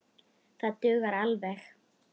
Það dugar alveg.